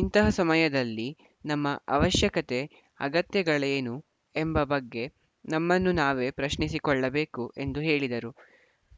ಇಂತಹ ಸಮಯದಲ್ಲಿ ನಮ್ಮ ಅವಶ್ಯಕತೆ ಅಗತ್ಯತೆಗಳೇನು ಎಂಬ ಬಗ್ಗೆ ನಮ್ಮನ್ನು ನಾವೇ ಪ್ರಶ್ನಿಸಿಕೊಳ್ಳಬೇಕು ಎಂದು ಹೇಳಿದರು